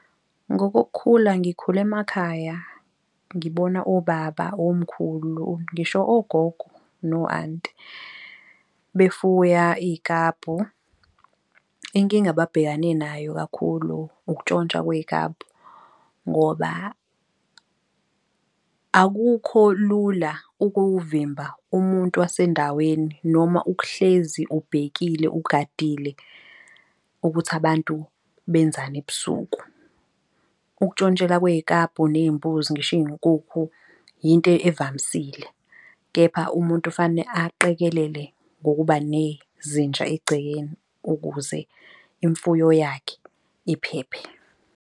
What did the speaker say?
Ngokukhula ngikhule emakhaya, ngibona obaba, omkhulu, ngisho ogogo, no-anti befuya iy'klabhu. Inkinga ababhekane nayo kakhulu ukutshontshwa kwey'kabhu ngoba akukho lula ukuvimba umuntu wasendaweni noma ukuhlezi ubhekile ugadile ukuthi abantu benzani ebusuku. Ukuntshontshelwa kwey'kabhu ney'mbuzi ngisho iy'nkukhu yinto evamisile. Kepha umuntu fanele aqekelele ngokuba nezinja egcekeni ukuze imfuyo yakhe iphephe.